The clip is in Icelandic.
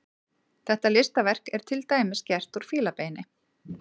Þetta listaverk er til dæmis gert úr fílabeini.